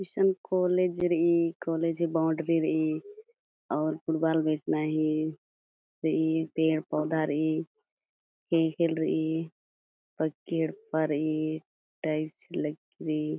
इशन कॉलेज रई कॉलेज ही बाउंड्री रई अउर फुटबॉल बेचना ही रई पेड़ पौधा रई खेखेल रई बगे येड्पा रई टाइल्स लग्गी रई।